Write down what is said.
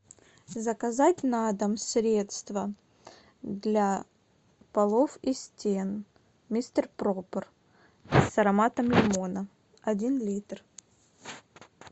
заказать на дом средство для полов и стен мистер пропер с ароматом лимона один литр